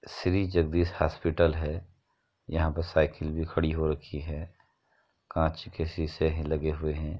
Shri Jagdish hospital है | यहाँ पर साइकिल भी खड़ी हो रखी है | काँच के शीशे है लगे हुए हैं।